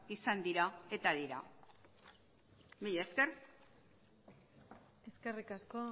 izan dira eta dira mila esker eskerrik asko